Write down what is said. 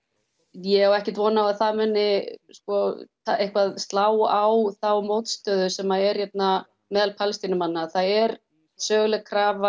ég á ekkert von á því að það muni eitthvað slá á þá mótstöðu sem er hérna meðal Palestínumanna það er söguleg krafa